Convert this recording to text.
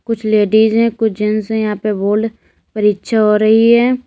कुछ लेडिज है कुछ जेंट्स है यहां पे बोर्ल्ड परीक्षा हो रही है।